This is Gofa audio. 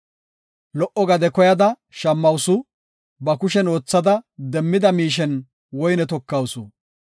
Lo77o gade koyada shammawusu; ba kushen oothada demmida miishen woyne tokawusu.